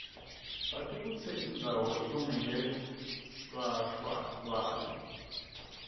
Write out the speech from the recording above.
sati kutsi indzawo ilungele lwhlalwa layo